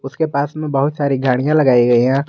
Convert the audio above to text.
उसके पास में बहुत सारी गाड़ियां लगाई गई है।